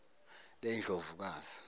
lendlovukazi